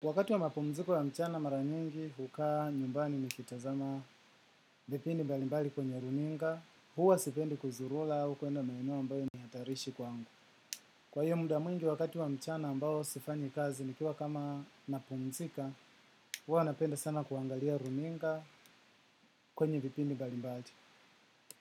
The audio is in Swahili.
Wakati wa mapumziko wa mchana mara nyingi, huka nyumbani nikitazama vipindi mbalimbali kwenye runinga, huwa sipendi kuzurura, au kuenda maeneo ambayo ni hatarishi kwangu. Kwa hiyo muda mwingi wakati wa mchana ambayo sifanyi kazi nikiwa kama napumzika, huwa napenda sana kuangalia runinga kwenye vipindi mbalimbali.